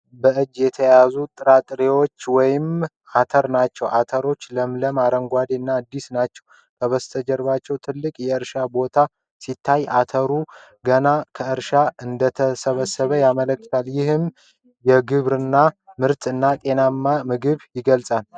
በእጅ የተያዙ ጥራጥሬዎች ወይም አተር ናቸው። አተሮቹ ለምለም አረንጓዴ እና አዲስ ናቸው። ከበስተጀርባ ትልቅ የእርሻ ቦታ ሲታይ፣ አተሩ ገና ከእርሻ እንደተሰበሰበ ያመለክታል። ይህም የግብርና ምርትን እና ጤናማ ምግብን ይገልጻል።